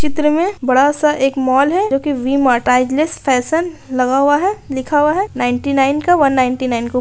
चित्र में बड़ा सा एक मॉल है जोकि वी-मार्ट टाइगलेस फैशन लगा हुआ है लिखा हुआ है नाइंटी नाइन का वन नाइंटी नाइन --